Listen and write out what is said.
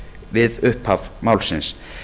við upphafi málsins